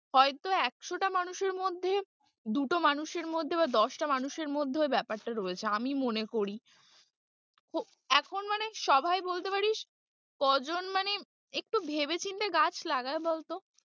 হয়তো একশোটা মানুষের মধ্যে দুটো মানুষের মধ্যে বা দশটা মানুষের মধ্যে ওই ব্যাপারটা রয়েছে আমি মনে করি, এখন মানে সবাই বলতে পারিস কজন মানে একটু ভেবেচিন্তে গাছ লাগায় বলতো?